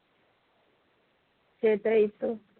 সেটাই তো